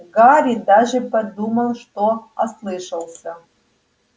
гарри даже подумал что ослышался